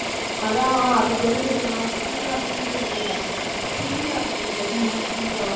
அதான் அதுக்கு வந்துட்டு எப்படின்னா ஜம்மு காஷ்மீர்னு இல்லை சிம்லா இருக்கும் தெரியுமா சிம்லா